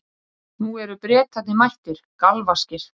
Nú eru Bretarnir mættir, galvaskir.